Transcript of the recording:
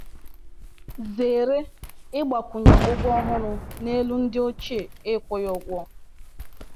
Zere ịgbakwunye ụgwọ ọhụrụ n’elu ndị ochie ị kwụghị ụgwọ